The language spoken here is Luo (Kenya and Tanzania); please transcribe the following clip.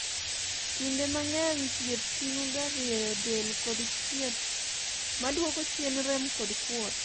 kinde mang'eny thieth ting'o ga rieyo del kod thieth ma duoko chien rem kod kuot